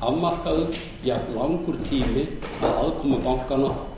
afmarkaður jafnlangur tími að aðkomu bankanna og